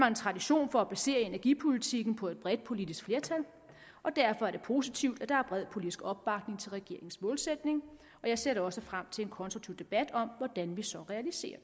en tradition for at basere energipolitikken på et bredt politisk flertal og derfor er det positivt at der er bred politisk opbakning til regeringens målsætning og jeg ser da også frem til en konstruktiv debat om hvordan vi så realiserer